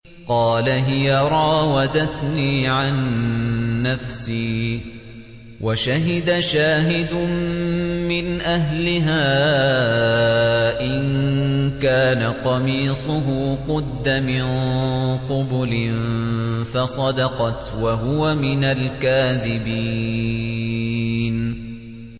قَالَ هِيَ رَاوَدَتْنِي عَن نَّفْسِي ۚ وَشَهِدَ شَاهِدٌ مِّنْ أَهْلِهَا إِن كَانَ قَمِيصُهُ قُدَّ مِن قُبُلٍ فَصَدَقَتْ وَهُوَ مِنَ الْكَاذِبِينَ